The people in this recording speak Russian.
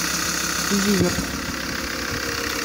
зиверт